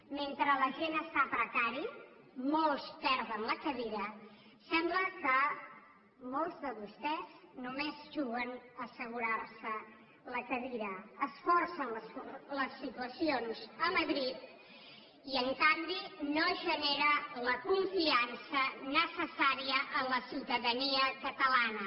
mentre la gent està a precari molts perden la cadira sembla que molts de vostès només juguen a assegurarse la cadira es forcen les situacions a madrid i en canvi no es genera la confiança necessària en la ciutadania catalana